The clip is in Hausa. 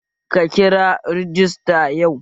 Ka kira rajista yau?